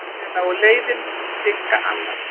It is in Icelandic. Síðar lágu leiðir Sigga annað.